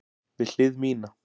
Við hlið mína.